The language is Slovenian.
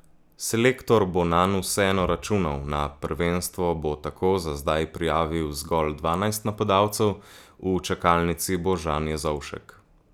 Selektor bo nanj vseeno računal, na prvenstvo bo tako za zdaj prijavil zgolj dvanajst napadalcev, v čakalnici bo Žan Jezovšek.